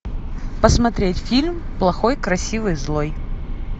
посмотреть фильм плохой красивый злой